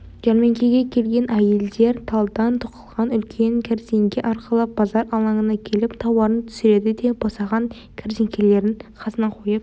жәрмеңкеге келген әйелдер талдан тоқылған үлкен кәрзеңке арқалап базар алаңына келіп тауарын түсіреді де босаған кәрзеңкелерін қасына қойып